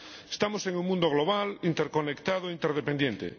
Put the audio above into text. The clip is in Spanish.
Estamos en un mundo global, interconectado, interdependiente.